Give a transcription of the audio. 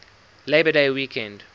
labor day weekend